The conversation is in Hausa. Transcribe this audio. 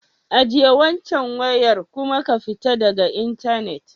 Ajiye waccan wayar kuma ku fita daga intanet.